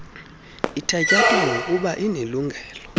ithatyathwa bgokuba inelungelo